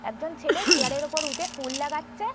একজন ছেলে চেয়ার -এর ওপরে উঠে ফুল লাগাচ্ছে ।